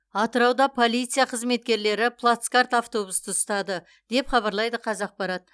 атырауда полиция қызметкерлері плацкарт автобусты ұстады деп хабарлайды қазақпарат